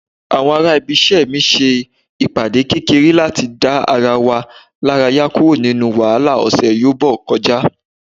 àwọn ará ibise mi se ìpàdé kekere lati da ara wa laraya kuro ninu wahala ọsẹ yobo kọjá